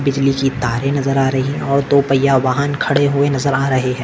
बिजली की तारे नजर आ रही है और दो पय्या वाहन खडे हुए नजर आ रहे है।